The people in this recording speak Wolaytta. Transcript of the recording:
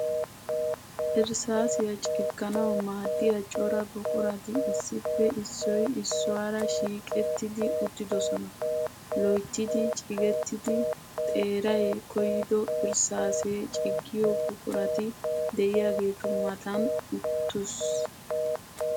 Irssaasiya cigganawu maaddiya cora buqurati issippe issoy issuwaara shiiqettidi uttidosona. Loyttidi cigettidi, xeeray koyido irsssaasee ciggiyo buqurati de'iyageetu matan uttiis.